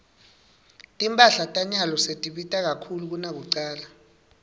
timphahla tanyalo setibita kakhulu kunakucala